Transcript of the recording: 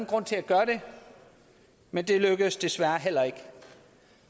grund til at gøre det men det lykkedes desværre heller ikke